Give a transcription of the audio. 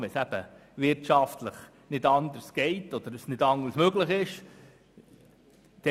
Wenn es wirtschaftlich nicht anders geht, ist es möglich, eine Ölheizung einzubauen.